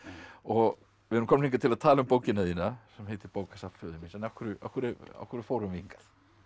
og við erum komnir hingað til að tala um bókina þína sem heitir bókasafn föður míns en af hverju af hverju af hverju fórum við hingað